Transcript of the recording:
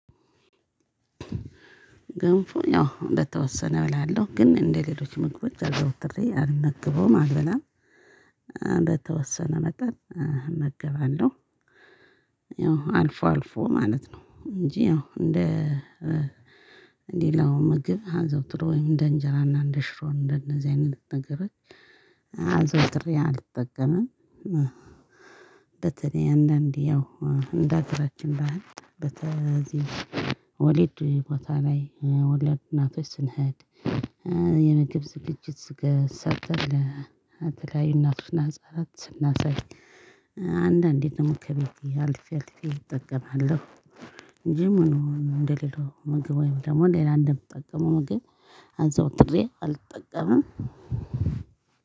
ገንፎ ያው እንደተወሰነ እበላለሁ ግን እንደሌሎች ምግቦች አዘውትሬ አልመግበውም አልበላም። በተወሰነ መጠን እመገባለሁ። ያው አልፎ አልፎ ማለት ነው እንጂ እንደ ሌላው ምግብ አዘውትሮ ወይም እንደ እንጀራና እንደ ሽሮ እንደነዚህ አይነት ነገሮች። አዘውትሬ አልጠቀምም። በተለይ አንዳንዴ ያው እንዳገራችን ያህል በተዚ ወሊድ ቦታ ላይ ወላድ እናቶች ስንሄድ። የምግብ ዝግጅት ስጋ ሰርተን ለተለያዩ እናቶች እና ህፃናት ስናሳይ። አንዳንዴ ደግሞ ከቤቴ አልፌ አልፌ እጠቀማለሁ። እንጂ ምሉ እንደሌላው ምግብ ወይም ደግሞ ሌላ እንደምጠቀመው ምግብ አዘውትሬ አልጠቀምም።